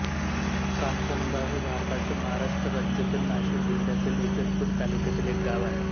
कांचनगाव हे भारताच्या महाराष्ट्र राज्यातील नाशिक जिल्ह्यातील इगतपुरी तालुक्यातील एक गाव आहे